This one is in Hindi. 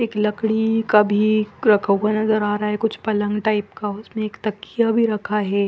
एक लकड़ी का भी खो खो नज़र आ रहा है कुछ पलन टाइप का उसमे एलक तकिया भी रखा है।